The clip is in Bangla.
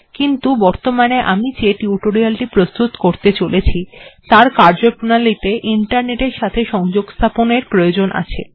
কিন্তু বর্তমানে আমি যে টিউটোরিয়াল্ টি প্রস্তুত করতে চলেছি তার কার্যপ্রণালী তে ইন্টারনেট্ এর সাথে সংযোগস্থাপন এর প্রয়োজন আছে